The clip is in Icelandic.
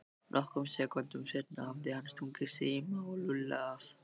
Nokkrum sekúndum seinna hafði hann stungið Simma og Lúlla af.